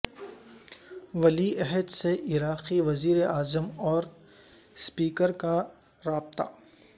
ولی عہد سے عراقی وزیر اعظم اور سپیکر کا رابطہ